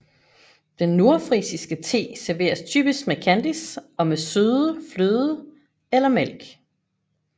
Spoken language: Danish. Den nordfrisiske te serveres typisk med kandis og med søde fløde eller mælk